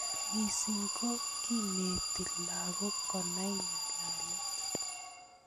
Missing ko kineti lakok konai ng'alalet.